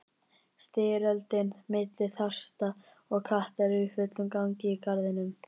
Styrjöldin milli þrasta og kattar er í fullum gangi í garðinum.